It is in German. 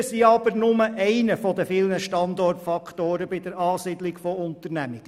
Steuern sind aber nur einer von vielen Standortfaktoren bei der Ansiedlung von Unternehmungen.